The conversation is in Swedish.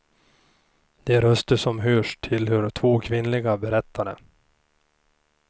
De röster som hörs tillhör två kvinnliga berättare.